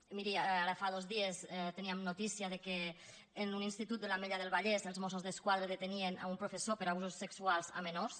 i miri ara fa dos dies teníem notícia que en un institut de l’ametlla del vallès els mossos d’esquadra detenien un professor per abusos sexuals a menors